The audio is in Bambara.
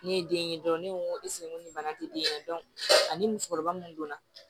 Ne ye den ɲini dɔrɔn ne ko n ko ko nin bana tɛ den na ani musokɔrɔba mun donna